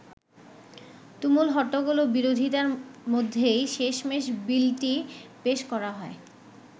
তুমুল হট্টগোল ও বিরোধীতার মধ্যেই শেষমেশ বিলটি পেশ করা হয়।